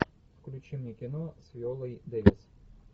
включи мне кино с виолой дэвис